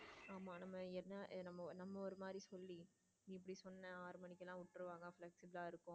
ஆமா நம்ம நம்ம ஊரு மாதிரி சொல்லி இப்படி சொன்னா ஆறு மணிக்கு விட்டுருவாங்க plus இதான் இருக்கும்.